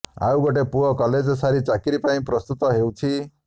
ଆଉ ଗୋଟେ ପୁଅ କଲେଜ୍ ସାରି ଚାକିରି ପାଇଁ ପ୍ରସ୍ତୁତ ହେଉଛି